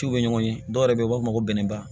F'u bɛ ɲɔgɔn ye dɔw yɛrɛ bɛ u b'a fɔ ko bɛnba